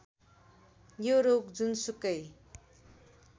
यो रोग जुनसुकै